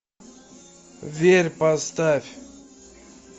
верь поставь